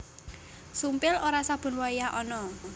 Sumpil ora saben wayah ana